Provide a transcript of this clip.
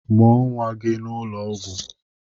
Mụọ nwa gị n'ụlọ ọgwụ!